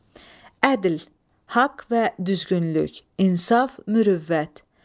Ədl, haqq və düzgünlük, insaf, mürüvvət.